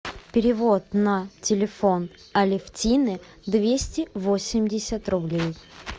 перевод на телефон алевтины двести восемьдесят рублей